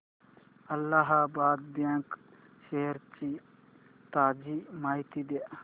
Allahabad bank shares ची ताजी माहिती दे